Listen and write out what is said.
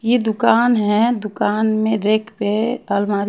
ये दुकान है दुकान मे रैक पे अलमारी--